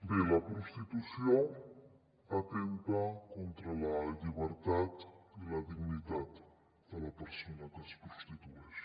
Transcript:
bé la prostitució atempta contra la llibertat i la dignitat de la persona que es prostitueix